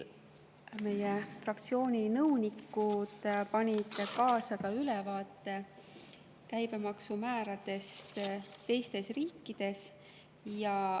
Meie fraktsiooni nõunikud panid kaasa ka ülevaate käibemaksumääradest teistes riikides.